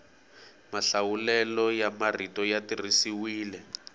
mahlawulelo ya marito ya tirhisiwile